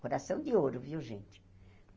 Coração de ouro, viu, gente?